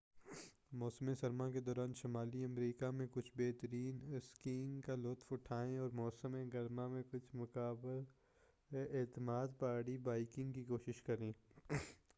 موسم سرما کےدوران شمالی امریکہ میں کچھ بہترین اسکیینگ کا لطف اٹھائیں اور موسم گرما میں کچھ قابل اعتماد پہاڑی بائیکنگ کی کوشش کریں